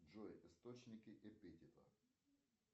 джой источники эпитета